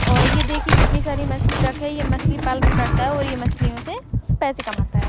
और ये देखिए कितनी सारी मछली रखी है ये मछली पालन करता है और मछलियों से पैसे कमाता है।